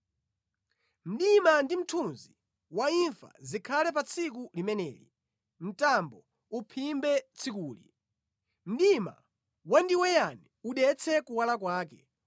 Mdima ndi mthunzi wa imfa zikhale pa tsiku limeneli; mtambo uphimbe tsikuli; mdima wandiweyani udetse kuwala kwake.